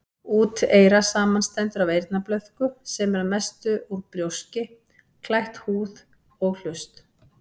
Úteyra samanstendur af eyrnablöðku, sem er að mestu út brjóski, klætt húð, og hlust.